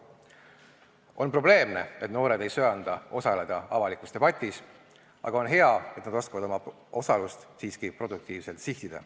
On probleemne, et noored ei söanda osaleda avalikus debatis, aga on hea, et nad oskavad oma osalust siiski produktiivselt sihtida.